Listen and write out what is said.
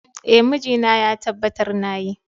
Eh, mijina ya tabbatar na yi.